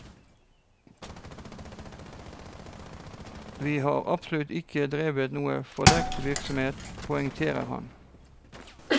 Vi har absolutt ikke drevet noen fordekt virksomhet, poengterer han.